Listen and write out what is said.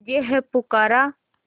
तुझे है पुकारा